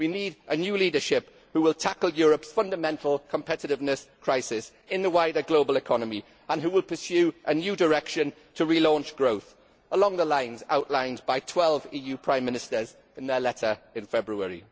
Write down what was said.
We need a new leadership which will tackle Europe's fundamental competitiveness crisis in the wider global economy and which will pursue a new direction to relaunch growth along the lines outlined by 12 EU prime ministers in their letter in February.